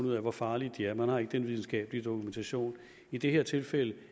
ud af hvor farlige de er man har ikke den videnskabelige dokumentation i det her tilfælde